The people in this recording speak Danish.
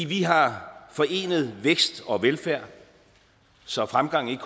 vi har forenet vækst og velfærd så fremgang ikke